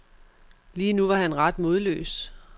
Lige nu var han ret modløs.